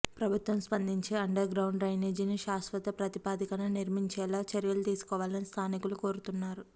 ప్రభుత్వం స్పందించి underground డ్రైనేజీని శాశ్వతప్రాతిపదికన నిర్మించేలా చర్యలు తీసుకోవాలని స్థానికులు కోరుతున్నారు